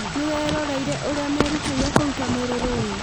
Nĩweroreire ũrĩa merutĩire kũruta mwĩrĩ rũĩ?